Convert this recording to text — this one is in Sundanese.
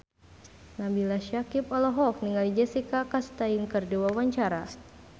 Nabila Syakieb olohok ningali Jessica Chastain keur diwawancara